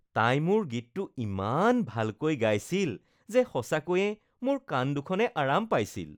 তাই মোৰ গীতটো ইমান ভালকৈ গাইছিল যে সঁচাকৈয়ে মোৰ কাণ দুখনে আৰাম পাইছিল